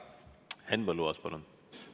Henn Põlluaas, palun!